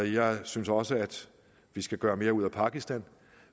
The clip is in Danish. jeg synes også vi skal gøre mere ud af pakistan